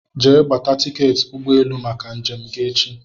Jee gbata tiketi ụgbọ élú màkà njem gị echi!!!